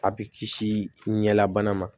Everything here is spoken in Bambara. A bɛ kisi ɲɛ bana ma